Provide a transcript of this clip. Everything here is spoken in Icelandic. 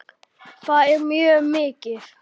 Það er mjög mikið.